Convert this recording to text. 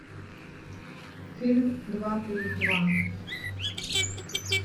фильм два плюс два